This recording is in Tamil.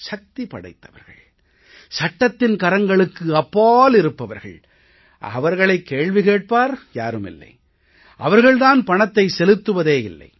சக்தி படைத்தவர்கள் சட்டத்தின் கரங்களுக்கு அப்பால் இருப்பவர்கள் அவர்களைக் கேள்வி கேட்பார் யாரும் இல்லை அவர்கள் தான் பணத்தை செலுத்துவதே இல்லை